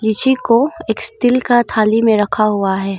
लीची को एक स्टील का थाली में रखा हुआ है।